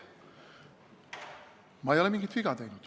Ma ei ole mingit viga teinud.